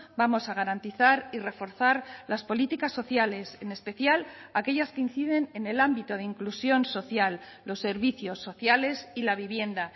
vamos a garantizar y reforzar las políticas sociales en especial aquellas que inciden en el ámbito de inclusión social los servicios sociales y la vivienda